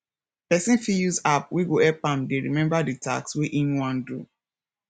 person fit use app wey go help am dey remember di task wey im wan do